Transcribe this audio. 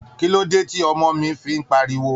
Kí ló dé tí ọmọ mi fi ń pariwo?